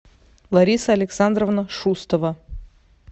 лариса александровна шустова